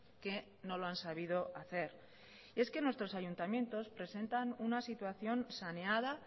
que no lo han sabido hacer nuestros ayuntamientos presentan una situación saneada